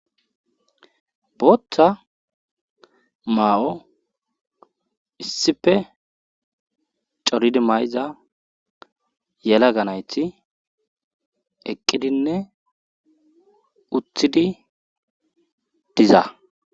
Booththa maa7o issife coridi mayza yelaga nayti eqqidinne uthidi diza..